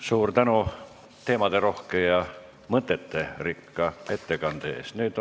Suur tänu teemaderohke ja mõteterikka ettekande eest!